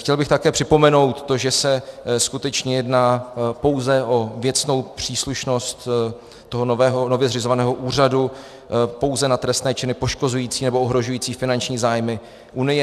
Chtěl bych také připomenout to, že se skutečně jedná pouze o věcnou příslušnost toho nově zřizovaného úřadu pouze na trestné činy poškozující nebo ohrožující finanční zájmy Unie.